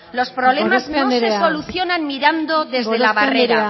los problemas no se solucionan mirando desde la barrera